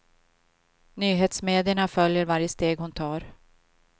Nyhetsmedierna följer varje steg hon tar.